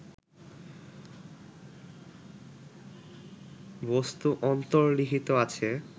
বস্তু অন্তর্লিখিত আছে